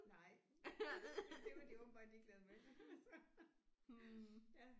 Nej men det var de åbenbart ligeglade med så ja